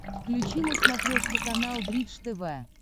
включи на смотрешке канал бридж тв